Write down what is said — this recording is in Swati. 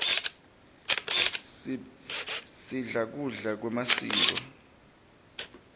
sibla kudla kwemasiko